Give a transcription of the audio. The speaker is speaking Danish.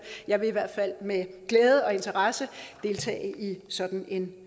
jeg vil i hvert fald med glæde og interesse deltage i sådan en